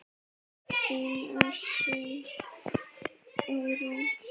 Þín Áslaug Eyrún.